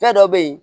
Fɛn dɔ be yen